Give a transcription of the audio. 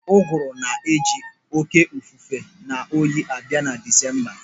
Ụgụrụ na-eji oké efufe na oyi abịa na Disemba.